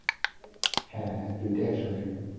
হ্যাঁ হ্যাঁ দুইটা একসঙ্গেই